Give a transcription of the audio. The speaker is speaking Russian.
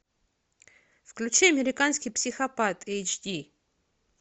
включи американский психопат эйч ди